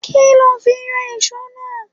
Kí lo fi yọ ìso náà?